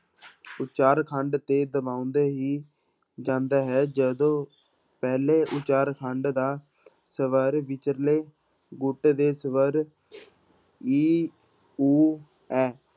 ਉਚਾਰਖੰਡ ਦੇ ਦਬਾਉਂਦੇ ਹੀ ਜਾਂਦਾ ਹੈ ਜਦੋਂ ਪਹਿਲੇ ਉਚਾਰਖੰਡ ਦਾ ਸਵਰ ਵਿਚਲੇ ਗੁਟ ਦੇ ਸਵਰ ਈ, ਊ, ਐ